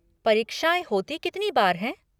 परीक्षाएँ होती कितनी बार हैं?